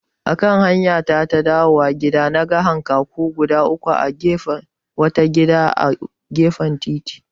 Akan hamyata ta dawowa gida, naga hankaku guda uku a bayan wani gida a gefen titi.